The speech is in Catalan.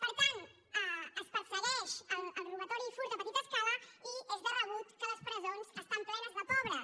per tant es persegueix el robatori i furt a petita escala i és de rebut que les presons estan plenes de pobres